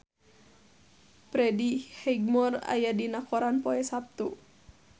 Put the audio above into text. Freddie Highmore aya dina koran poe Saptu